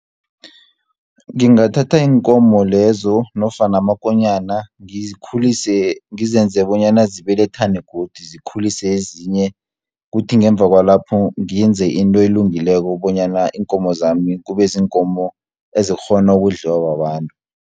Ngingathatha iinkomo lezo, nofana amakonyana ngizenze bonyana zibelethane godu, zikhulise ezinye. Kuthi ngemva kwalapho, ngenze into elungileko bonyana iinkomo zami kube ziinkomo ezikghona ukudliwa babantu.